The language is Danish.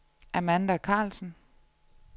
Amanda Carlsen